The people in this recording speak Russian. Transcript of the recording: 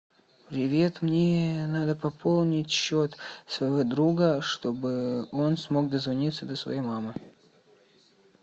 привет мне надо пополнить счет своего друга чтобы он смог дозвониться до своей мамы